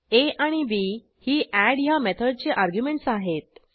आ B ही add ह्या मेथडची अर्ग्युमेंटस आहेत